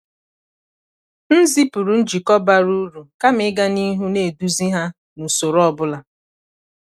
m zipụrụ njikọ bara uru kama ịga n’ihu na-eduzi ha n’usoro ọ bụla.